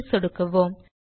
save ல் சொடுக்குவோம்